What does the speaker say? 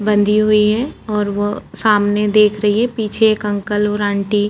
conductor -वनडक्टर होगा कितना अच्छा इ दिख रहा और --